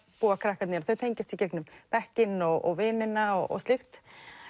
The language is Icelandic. búa krakkarnir og þau tengjast í gegnum bekkinn og vinina og slíkt